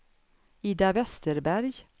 Ida Vesterberg